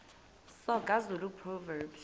soga zulu proverbs